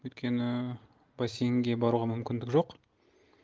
өйткені бассейнге баруға мүмкіндік жоқ